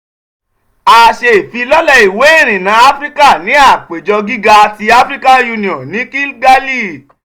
a ṣe ifilọlẹ iwe irinna afirika ni apejọ giga ti african union ni kigali